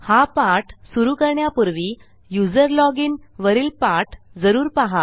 हा पाठ सुरू करण्यापूर्वी यूझर लॉजिन वरील पाठ जरूर पाहा